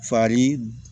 Fari